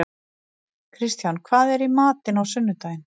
Kristján, hvað er í matinn á sunnudaginn?